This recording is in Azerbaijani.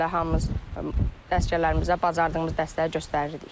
Elə hamımız əsgərlərimizə bacardığımız dəstəyi göstərirdik.